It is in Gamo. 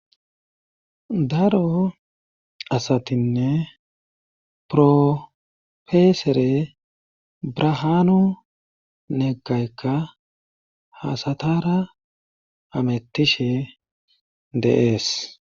daro asatinne profeesere brihaanu neggaykka ha asatara hamettishe de'ees